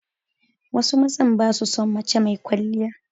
Wasu mazan ba su son mace mai kwaliya.